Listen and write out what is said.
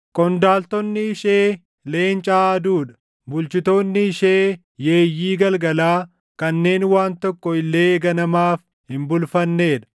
Qondaaltonni ishee leenca aaduu dha; bulchitoonni ishee yeeyyii galgalaa kanneen waan tokko illee ganamaaf // hin bulfannee dha.